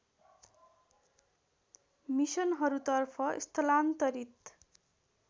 मिसनहरूतर्फ स्थलान्तरित